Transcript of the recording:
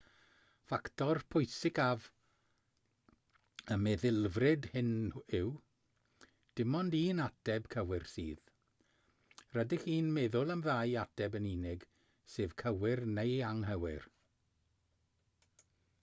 ffactor pwysicaf y meddylfryd hwn yw dim ond un ateb cywir sydd rydych chi'n meddwl am ddau ateb yn unig sef cywir neu anghywir